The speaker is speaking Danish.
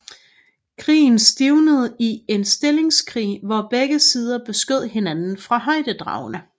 Krigen stivnede i en stillingskrig hvor begge sider beskød hinanden fra højdedragene